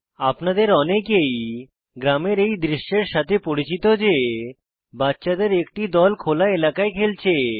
আপনাদের অনেকেই গ্রামের এই দৃশ্যের সাথে পরিচিত যে বাচ্চাদের একটি দল খোলা এলাকায় খেলছে